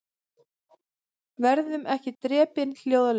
Verðum ekki drepin hljóðalaust